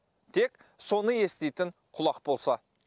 тек соны еститін құлақ болса